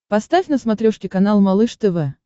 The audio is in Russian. поставь на смотрешке канал малыш тв